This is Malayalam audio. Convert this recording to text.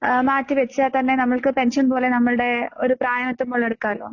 ആഹ് മാറ്റിവെച്ചാ തന്നെ നമ്മൾക്ക് പെൻഷൻ പോലെ നമ്മൾടെ ഒരു പ്രായം എത്തുമ്പോൾ എടുക്കാല്ലോ?